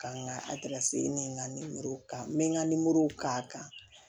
Ka n ka ni n ka kan n bɛ n ka k'a kan